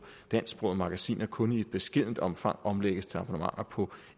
dansksprogede magasiner kun i et beskedent omfang omlægges til abonnementer på